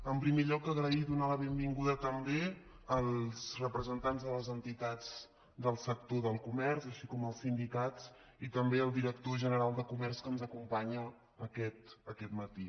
en primer lloc donar les gràcies i donar la benvinguda també als representants de les entitats del sector del comerç així com als sindicats i també al director general de comerç que ens acompanya aquest matí